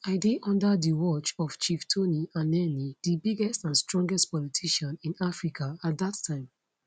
i dey under di watch of chief tony anenih di biggest and strongest politician in africa at dat time